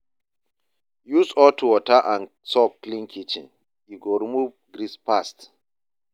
Use hot water and soap clean kitchen, e go remove grease fast.